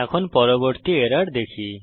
এখন পরবর্তী এরর দেখি